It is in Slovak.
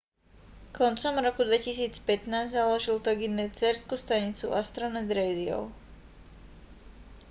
koncom roku 2015 založil toginet dcérsku stanicu astronet radio